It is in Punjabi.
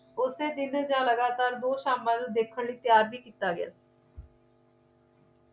ਓਸੇ ਦਿਨ ਜਾਂ ਲਗਾਤਾਰ ਦੋ ਸ਼ਾਮਲ ਦੇਖਣ ਲਈ ਤਿਆਰ ਵੀ ਕੀਤਾ ਗਿਆ